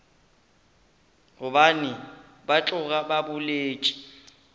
gobane ba tloga ba boletše